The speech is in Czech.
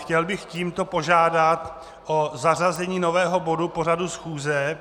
Chtěl bych tímto požádat o zařazení nového bodu pořadu schůze,